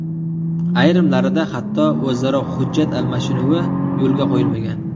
Ayrimlarida hatto o‘zaro hujjat almashinuvi yo‘lga qo‘yilmagan.